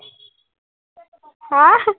হম